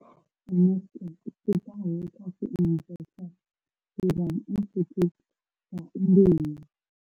Eneca dzi bvaho kha tshiimiswa tsha Serum Institute tsha India.